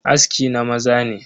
Aski na maza ne.